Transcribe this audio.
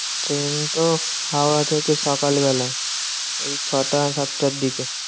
Train তো হাওড়া থেকে সকালবেলা। এই ছটা সাতটার দিকে।